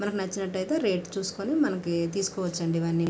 మనకి నచ్చినట్టయితే రేట్ చూసుకుని మనకి తీసుకోవచ్చండి ఇవన్నీ.